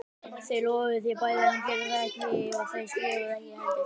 Þau lofuðu því bæði en gerðu það ekki og þau skrifuðu ekki heldur.